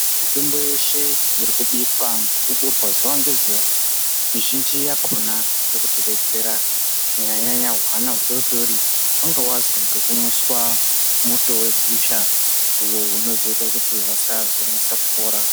Mitombo yeshe irikubikwa yechiburwa zuwa ngezuwa mizhinji yakhona irikutidetsera kunyanya nyanya hwana hudoodori hwanga hwazwa ngekumwiswa muto wegusha uwo unozoita kuti vasazonesa kupora.